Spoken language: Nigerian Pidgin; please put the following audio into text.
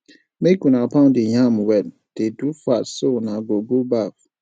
make una pound the yam well dey do fast so una go go baff